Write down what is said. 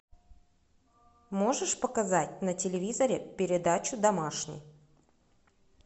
можешь показать на телевизоре передачу домашний